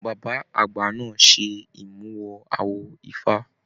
Bàbá àgbà náà ṣe imuwọ̀ awo ifá.